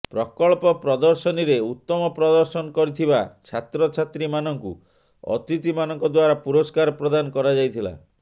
ପ୍ରକଳ୍ପ ପ୍ରଦର୍ଶନୀରେ ଉତ୍ତମ ପ୍ରଦର୍ଶନ କରିଥିବା ଛାତ୍ରଛାତ୍ରୀ ମାନଙ୍କୁ ଅତିଥି ମାନଙ୍କ ଦ୍ୱାରା ପୁରସ୍କାର ପ୍ରଦାନ କରାଯାଇଥିଲା